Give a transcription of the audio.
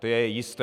To je jisté.